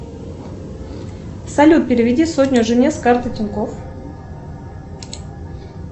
салют переведи сотню жене с карты тинькофф